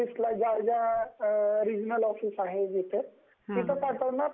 office regional office आहे तिथे पाठवणार तिथे